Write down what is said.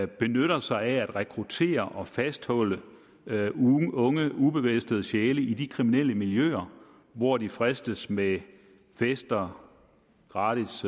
benytter sig af at rekruttere og fastholde unge ubefæstede sjæle i de kriminelle miljøer hvor de fristes med fester gratis